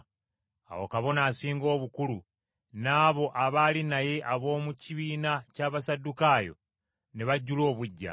Awo Kabona Asinga Obukulu, n’abo abaali naye ab’omu kibiina ky’Abasaddukaayo ne bajjula obuggya.